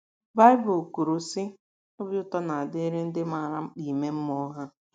” Baịbụl kwuru, sị: “ Obi ụtọ na - adịrị ndị maara mkpa ime mmụọ ha. ”